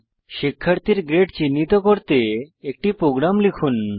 শিক্ষার্থীর গ্রেড চিহ্নিত করতে একটি প্রোগ্রাম লেখা যাক